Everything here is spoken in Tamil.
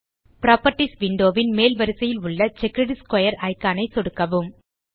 புராப்பர்ட்டீஸ் விண்டோ ன் மேல் வரிசையில் உள்ள செக்கர்ட் ஸ்க்வேர் இக்கான் ஐ சொடுக்கவும்